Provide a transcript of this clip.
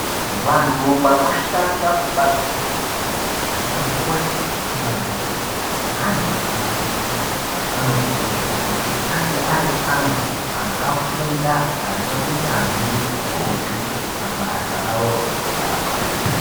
Vantu vanoshanda kubazi rezveutano anamikoti madhokodheya neantu anoabetsera anokurudzirwa kuti ange ari antu akafunda aneunyanzvi hukurutu pabasa ravoro rekurapa.